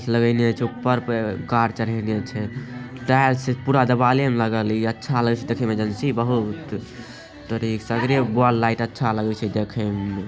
लगा है नियई अछे ऊपर पे कार चढ़ैले अछे टायर से पूरा दबाएल नियर लगा हई अच्छा लगा हई देखे में बहुत सगरो वाल लाइट अच्छा लगैत हई देखे में |